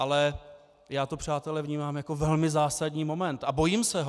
Ale já to, přátelé, vnímám jako velmi zásadní moment a bojím se ho.